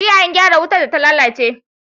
Jiya an gyara wutar data lalace